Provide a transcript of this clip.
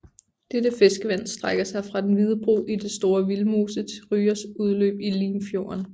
Dette fiskevand strækker sig fra Den Hvide Bro i Store Vildmose til Ryås udløb i Limfjorden